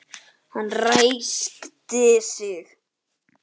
Hann ræskti sig.